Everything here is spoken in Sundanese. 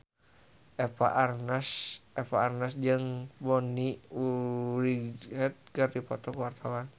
Eva Arnaz jeung Bonnie Wright keur dipoto ku wartawan